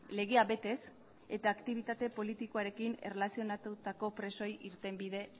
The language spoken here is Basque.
legea betez eta aktibitate politikoarekin erlazionatutako presoei irtenbide